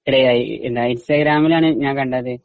ഇടയായി. ഇൻസ്റ്റഗ്രാമിലാണ് ഞാൻ കണ്ടത്.